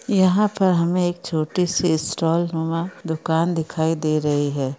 यहा पर हमे एक छोटी सी स्टॉल मे दुकान दिखाई दे रही है।